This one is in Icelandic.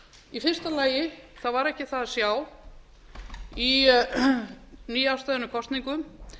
í fyrsta lagi var ekki það að sjá í nýafstöðnum kosningum